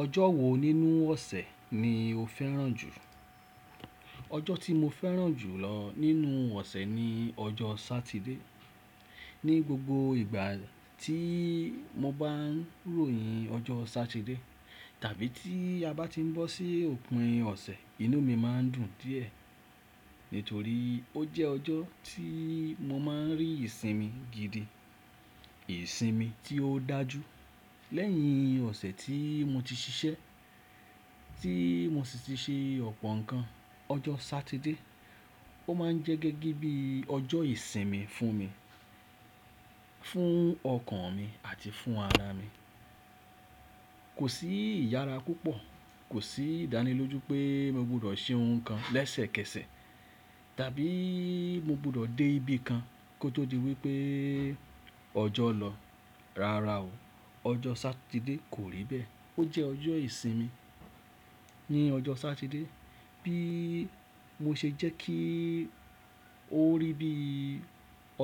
Ọjọ́ wo nínú ọ̀sẹ̀ ni o fẹ́ràn jù? Ọjọ́ tí mo fẹ́ràn jù lọ nínú ọ̀sẹ̀ ni ọjọ́ Sátidé. Ni gbogbo ìgbà tí mo bá ń ròyìn ọjọ́ Sátidé, tàbí tí a bá ti ń bọ́ sí òpin ọ̀sẹ̀, inú mi má ń dùn díẹ̀, nítorí ó jẹ́ ọjọ́ tí mo má ń rí ìsinmi gidi, ìsinmi tí ó dájú. Lẹ́yìn ọ̀sẹ̀ tí mo ti ṣiṣẹ́, tí mo sì ti ṣe ọ̀pọ̀ nǹkan, ọjọ́ Sátidé ó má ń jẹ́ gẹ́gẹ́ bí ọjọ́ ìsinmi fún mi, fún ọkàn mi àti fún ara mi. Kò sí ìyára púpọ̀, kò sí ìdánilójú pé mo gbọdọ̀ ṣe ohun kan lẹ́sẹ̀kẹsẹ̀ tàbí mo gbọdọ̀ dé ibi kan kó tó di wípé ọjọ́ lọ. Rárá o, ọjọ́ Sátidé kò rí bẹ́ẹ̀. Ó jẹ́ ọjọ́ ìsinmi. Ni ọjọ́ Sátidé, bií mo ṣe jẹ́ kíi ó rí bí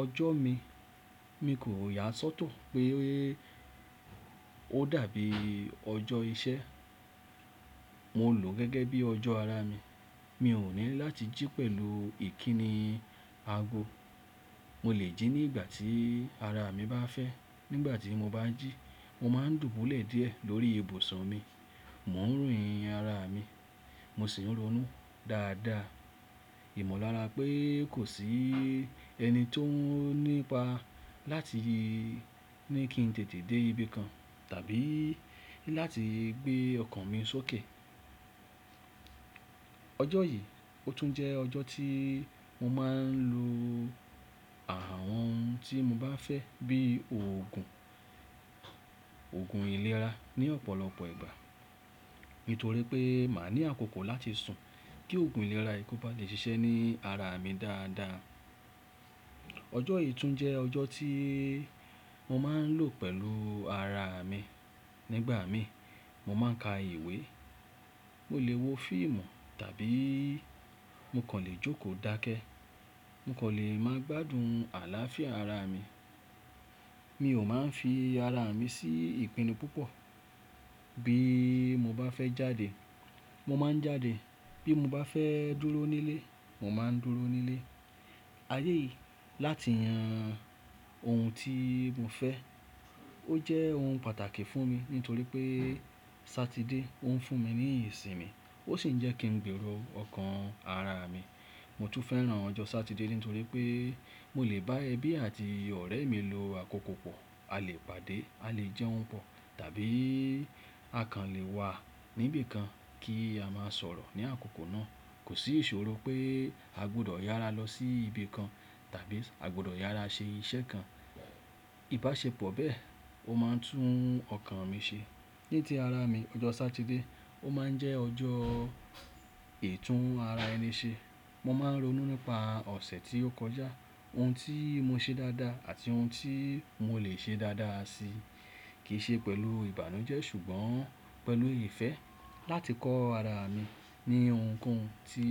ọjọ́ mi, mi kò yà á sọ́tọ̀ pé ó dàbí ọjọ́ iṣẹ́. Mo lò ó gẹ́gẹ́ bí ọjọ́ ara mi. Mi ò ní láti jí pẹ̀lú ìkíni ago. Mo lè jí ní ìgbà tí ara mi bá fẹ́. Nígbà tí mo bá jí, mo má ń dùbúlẹ̀ díẹ̀ lórí ibùsọ̀ mi. Mò ń royìn ara mi, mo sì ń ronú dáadáa. Ìmọ̀lára pé kò sí ẹni tó nípa láti ní kí n tètè dé ibi kan tàbí láti gbé ọkàn mi sókè. Ọjọ́ yìí ó tún jẹ́ ọjọ́ tí mo má ń lo àwọn ohun tí mo bá fẹ́ bí òògùn, òògùn ìlera ní ọ̀pọ̀lọpọ̀ ìgbà, nítorí pé màá ní àkókò láti sùn kí òògùn ìlera ki o bá lè ṣiṣẹ́ ní ara mi dáadáa. Ọjọ́ yìí tún jẹ́ ọjọ́ tí mo má ń lò pẹ̀lú ara mi. Nígbà mi, mo má ń ka ìwé, mo lè wo fíìmù tàbí mo kàn lè jókòó dákẹ́. Mo kàn lè máa gbádùn àlàáfíà ara mi. Mi ò má ń fi ara mi sí ìpinnu púpọ̀. Bí mo bá fẹ́ jáde, mo má ń jáde. Bí mo bá fẹ́ dúró nílé, mo má ń dúró nílé. Ayé yìí láti yan ohun tí mo fẹ́, ó jẹ́ ohun pàtàkì fún mi nítorí pé Sátidé ó ń fún mi ní ìsinmi, ó sì ń jẹ́ kí n gbèrò ọkàn ara mi. Mo tún fẹ́ràn ọjọ́ Sátidé nítorí pé mo lè bá ẹbí àti ọ̀rẹ́ mi lo àkókò pọ̀. A lè pàdé, a lè jẹun pọ̀ tàbí a kàn lè wà níbi kan kí a máa sọ̀rọ̀ ní àkókò náà. Kò sí ìṣòro pé a gbọdọ̀ yára lọ sí ibi kan tàbí a gbọdọ̀ yára ṣe iṣẹ́ kan. Ìbáṣepọ̀ bẹ́ẹ̀ ó má ń tún ọkàn mi ṣe. Ní tí ara mi, ọjọ́ Sátidé ó má ń jẹ́ ọjọ́ ìtún ara ẹni ṣe. Mo má ń ronú nípa ọ̀sẹ̀ tí ó kọjá, ohun tí mo ṣe dáadáa àti ohun tí mo lè ṣe dáadáa si. Kì í ṣe pẹ̀lú ìbànújẹ́ ṣùgbọ́n pẹ̀lú ìfẹ́ láti kọ́ ara mi ní ohun ko oun tí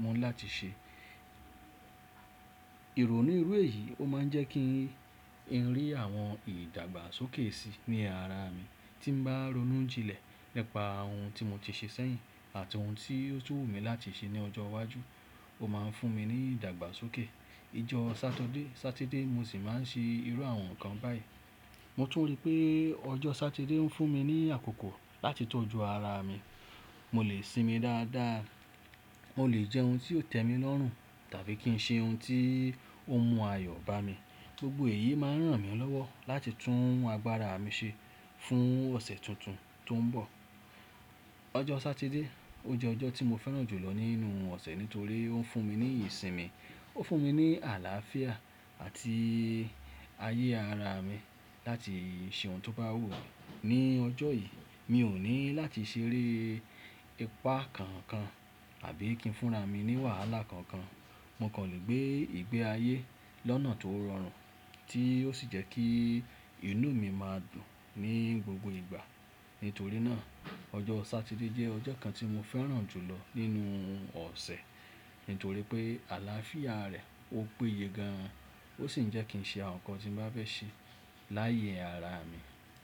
mo ní láti ṣe. Ìròní ìrú èyí ó má ń jẹ́ kí n rí àwọn ìdàgbàsókè sí ní ara mi. Tí n bá ronú jílẹ̀ nípa ohun tí mo ti ṣe sẹ́yìn àti ohun tí ó tún wù mí láti ṣe ní ọjọ́ iwájú, ó má ń fún mi ní ìdàgbàsókè. I jọ́ Sátọ́dẹ́ Sátidé mo sì má ń ṣe irú àwọn nǹkan báyìí. Mo tún rí pé ọjọ́ Sátidé ń fún mi ní àkókò láti tọ́jú ara mi. Mo lè sinmi dáadáa, mo lè jẹun tí yóò tẹ́ mi lọ́rùn tàbí kí n ṣe ohun tí ó mú ayọ̀ bá mi. Gbogbo èyí má ń ràn mí lọ́wọ́ láti tún agbára mi ṣe fún ọ̀sẹ̀ tuntun tó ń bọ̀. Ọjọ́ Sátidé ó jẹ́ ọjọ́ tí mo fẹ́ràn jù lọ nínú ọ̀sẹ̀ nítorí ó ń fún mi ní ìsinmi. Ó fún mi ní àlàáfíà àti ayé ara mi láti ṣe ohun tó bá wù mí ní ọjọ́ yìí. Mi ò ní láti ṣeré ipá kankan tàbí kí n fúnra mi ní wàhálà kankan. Mo kàn lè gbé ìgbé ayé lọ́nà tó rọrùn tí ó sì jẹ́ kí inú mi má dùn ní gbogbo ìgbà. Nítorí náà, ọjọ́ Sátidé jẹ́ ọjọ́ kan tí mo fẹ́ràn jù lọ nínú ọ̀sẹ̀ nítorí pé àlàáfíà rẹ̀ ó péye gan àn. Ó sì ń jẹ́ kí ń ṣe àwọn nǹkan tí n bá fẹ́ ṣe láyé ara mi.